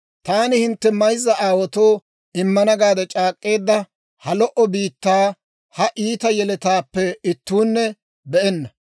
‹Taani hintte mayzza aawaatoo immana gaade c'aak'k'eedda ha lo"o biittaa, ha iita yeletaappe ittuunne be'enna.